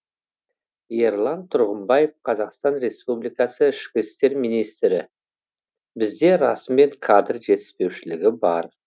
ерлан тұрғымбаев қазақстан республикасы ішкі істер министрі бізде расымен кадр жетіспеушілігі бар